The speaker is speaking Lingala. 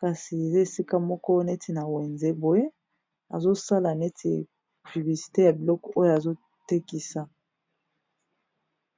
kasi zesika moko neti na wenze boye azosala neti bibisite ya bilok oyo azotekisa